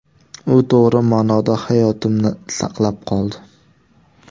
U to‘g‘ri ma’noda hayotimni saqlab qoldi.